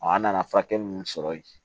an nana furakɛli minnu sɔrɔ yen